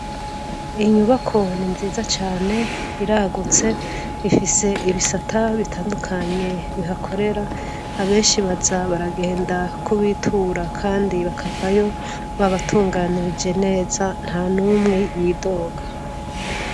Inyubako ni nziza cane iragutse ifise ibisata bitandukanye bihakorera abenshi baza baragenda kubitura kandi bakavayo babatunganirije neza ntanumwe yidoga